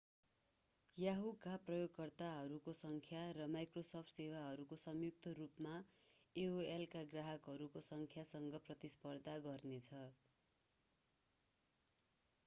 yahoo का प्रयोगकर्ताहरूको संख्या र microsoft सेवाहरूले संयुक्त रूपमा एओएलका ग्राहकहरूको संख्यासँग प्रतिस्पर्धा गर्नेछ